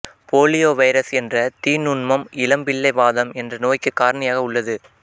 polio virus என்ற தீ நுண்மம் இளம்பிள்ளை வாதம் என்ற நோய்க்கு காரணியாக உள்ளது